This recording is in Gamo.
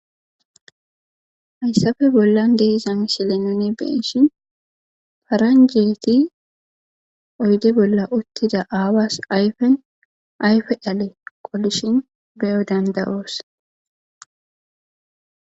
hayssafe bollan deizamishele nuni beshin paranjeti oyde bolla uttida aawas ayfen ayfe dhale qolishin beyo dandayoos